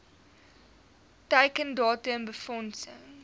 teiken datum befondsing